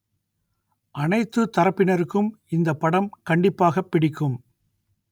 அனைத்துத் தரப்பினருக்கும் இந்தப் படம் கண்டிப்பாகப் பிடிக்கும்